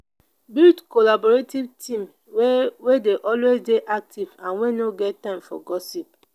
build collaborative team wey wey dey always dey active and wey no get time for gossip